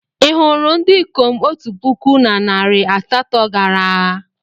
Ị hụrụ ndị ikom otu puku na narị asatọ gara agha?